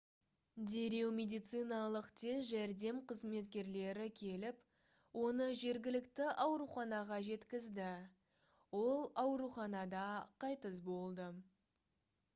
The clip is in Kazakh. дереу медициналық тез жәрдем қызметкерлері келіп оны жергілікті ауруханаға жеткізді ол ауруханада қайтыс болды